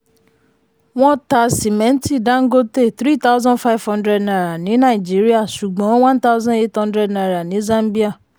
wọ́n ta simẹnti dangote three thousand five hundred naira ní nàìjíríà ṣùgbọ́n one thousand eight hundred naira ní zambia.